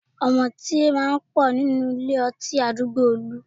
Ọ̀mùtí máa ń pọ̀ nílé ọtí àdúgbò Olú